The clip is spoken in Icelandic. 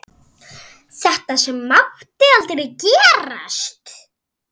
Þetta sem mátti aldrei gerast.